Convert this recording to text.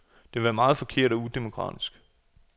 Det vil være meget forkert og udemokratisk.